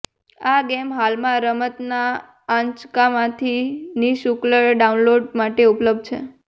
આ ગેમ હાલમાં રમતના આંચકામાંથી નિઃશુલ્ક ડાઉનલોડ માટે ઉપલબ્ધ છે